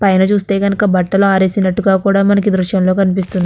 పైన చూస్తే కనకే బట్టలు ఆరేసినట్టుగా కూడా మనకి ఈ దృశ్యం లో కన్పిస్తుంది.